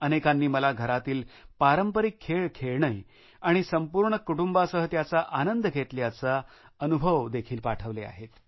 अनेकांनी मला घरातले पारंपारिक खेळ खेळणे आणि संपूर्ण कुटुंबासह त्याचा आनंद घेतल्याचे अनुभव देखील पाठवले आहेत